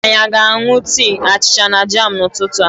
Anyị aga aṅụ tii, achịcha na jam n'ụtụtụ a?